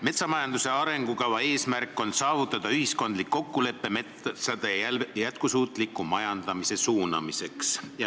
Metsanduse arengukava eesmärk on saavutada ühiskondlik kokkulepe metsade jätkusuutliku majandamise suunamiseks.